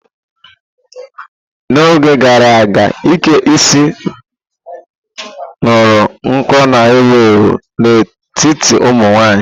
N'oge gara aga, ike isi ñuru nko na-ewu ewu n'etiti ụmụ nwanyị.